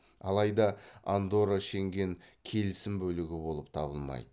алайда андорра шенген келісім бөлігі болып табылмайды